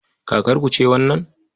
Kakarku ce wannan?